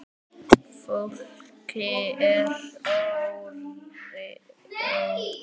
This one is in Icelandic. Fólki er órótt.